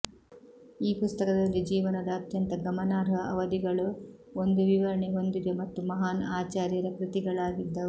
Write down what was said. ಈ ಪುಸ್ತಕದಲ್ಲಿ ಜೀವನದ ಅತ್ಯಂತ ಗಮನಾರ್ಹ ಅವಧಿಗಳು ಒಂದು ವಿವರಣೆ ಹೊಂದಿದೆ ಮತ್ತು ಮಹಾನ್ ಆಚಾರ್ಯರ ಕೃತಿಗಳಾಗಿದ್ದವು